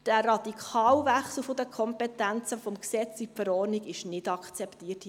Der radikale Wechsel der Kompetenzen vom Gesetz in die Verordnung ist hier im Parlament nicht akzeptiert.